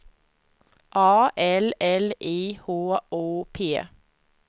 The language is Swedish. A L L I H O P